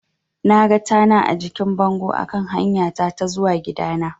Naga tana a jikin bango a kan hanyata ta zuwa gidana.